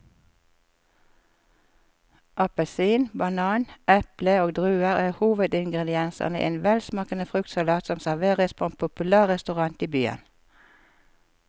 Appelsin, banan, eple og druer er hovedingredienser i en velsmakende fruktsalat som serveres på en populær restaurant i byen.